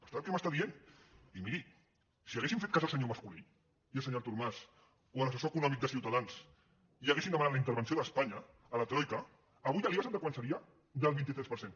per tant què m’està dient i miri si haguéssim fet cas al senyor mas colell i al senyor artur mas o a l’assessor econòmic de ciutadans i haguéssim demanat la intervenció d’espanya a la troica avui l’iva sap de quant seria del vint tres per cent